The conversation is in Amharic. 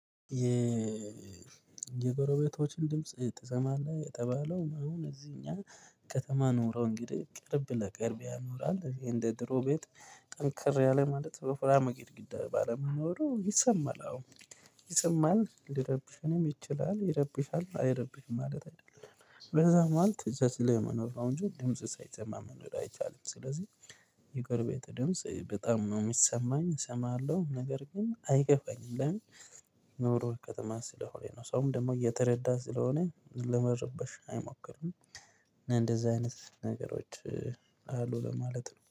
የ የጎረቤቶችን ድምጽ ትሰማለህ የተባለው? አሁን እዚህኛ ከተማ ኖሮ እንግዲህ ቅርብ ለቅርብ ያኖራል እዚህ እንደ ድሮ ቤት ጠንክር ያለ ማለት ወፍራማ ግድግድ ባለመኖሩ ይሰማል። አዎ ይሰማል ልረብሽም ይችላል። ይረብሻል አይረብሽም ማለት አይደለም በዛ ማሀል ተቻችለህ መኖር ነው እንጂ ድምጽ ሳይሰማ መኖር አይቻልም። ስለዚህ የጎረቤት ደምጽ በጣም ነው የሚሰማኝ እሰማለሁ ነገር ግን አይከፋኝም። ለምን? ኑሮ ከተማ ስለሆነ ነው ሰውም ደግሞ እየተረዳ ስለሆነ ልመርብሽ አይሞክርም። እንደዚህ አይነት ነገሮች አሉ ለማለት ነው